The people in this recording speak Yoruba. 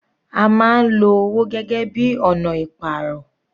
A máa ń lo owó gẹ́gẹ́ bíi ọ̀nà ìpàrọ̀.